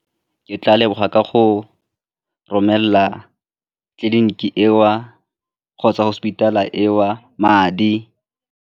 Ke tla leboga ka go romelela tleliniki eo kgotsa hospital-a eo madi.